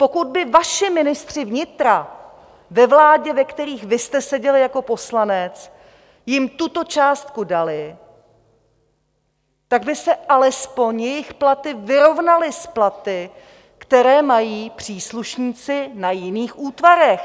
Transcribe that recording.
Pokud by vaši ministři vnitra ve vládě, ve kterých vy jste seděl jako poslanec, jim tuto částku dali, tak by se alespoň jejich platy vyrovnaly s platy, které mají příslušníci na jiných útvarech.